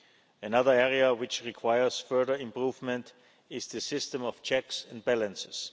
Another area which requires further improvement is the system of checks and balances.